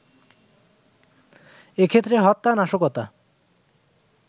এ ক্ষেত্রে হত্যা, নাশকতা